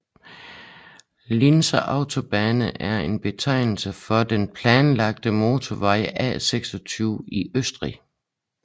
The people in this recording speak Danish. Linzer Autobahn er en betegnelse for den planlagte motorvej A26 i Østrig